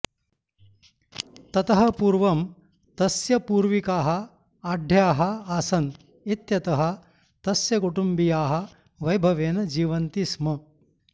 ततः पूर्वं तस्य पूर्विकाः आढ्याः आसन् इत्यतः तस्य कुटुम्बीयाः वैभवेन जीवन्ति स्म